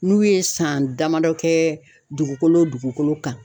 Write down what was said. N'u ye san damadɔ kɛ dugukolo dugukolo kan